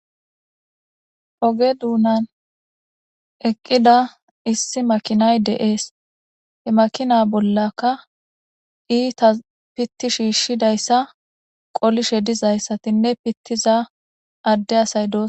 Ogge duunan eqqida issi makinay deees he makina bollaka iita pitti shiishshidayssa qolishe dizayssatinne pittiza adde asay dossona.